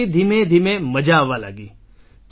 પછી ધીમે ધીમે મજા આવવા લાગી છે